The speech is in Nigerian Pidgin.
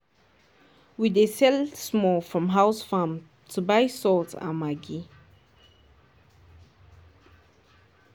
we dey sell small from house farm to buy salt and maggi